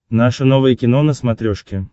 наше новое кино на смотрешке